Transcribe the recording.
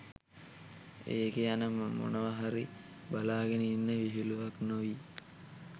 එකේ යන මොනවා හරි බලාගෙන ඉන්න විහිළුවක් නොවී